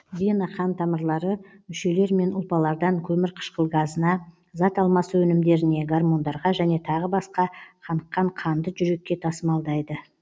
вена қантамырлары мүшелер мен ұлпалардан көмірқышқыл газына зат алмасу өнімдеріне гормондарға және тағы басқа қаныққан қанды жүрекке тасымалдайды